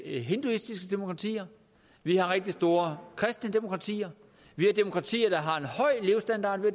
hinduistiske demokratier vi har rigtig store kristne demokratier vi har demokratier der har en høj levestandard vi